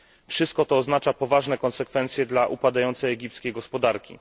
Wszystko to oznacza poważne konsekwencje dla upadającej egipskiej gospodarki.